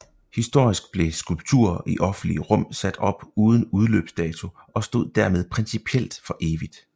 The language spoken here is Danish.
Historisk blev skulpturer i offentlige rum sat op uden udløbsdato og stod dermed principielt for evigt